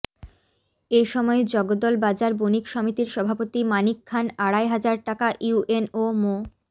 এসময় জগদল বাজার বণিক সমিতির সভাপতি মানিক খান আড়াই হাজার টাকা ইউএনও মো